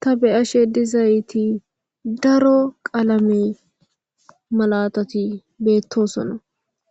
ta beyashe dizayti daro qalame malatati beettosona